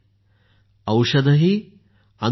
औषधही अनुशासन ही